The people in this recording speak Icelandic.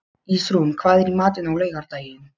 Ísrún, hvað er í matinn á laugardaginn?